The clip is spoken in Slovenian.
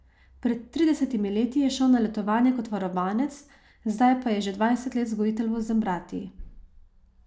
Pred tridesetimi leti je šel na letovanje kot varovanec, zdaj pa je že dvajset let vzgojitelj v Zambratiji.